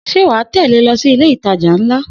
Sé wà á tẹ̀lé lọ sí ile itajà ńlá.